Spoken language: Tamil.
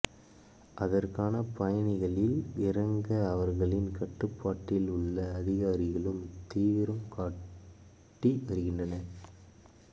அதற்கான பணிகளில் இறங்க அவர்களின் கட்டுப்பாட்டில் உள்ள அதிகாரிகளும் தீவிரம் காட்டி வருகின்றனர்